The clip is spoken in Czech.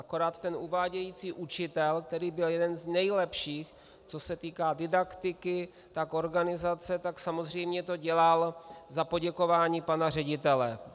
Akorát ten uvádějící učitel, který byl jeden z nejlepších, co se týká didaktiky, tak organizace, tak samozřejmě to dělal za poděkování pana ředitele.